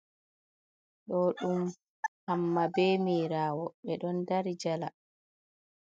Do ɗum hamma ɓe mirawo, ɓe ɗon ɗari jala.